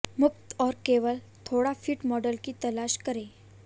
मुफ्त और केवल थोड़ा फिट मॉडल की तलाश करें